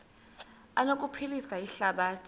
zi anokuphilisa ihlabathi